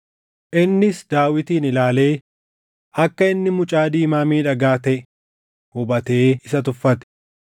Innis Daawitin ilaalee akka inni mucaa diimaa miidhagaa taʼe hubatee isa tuffate.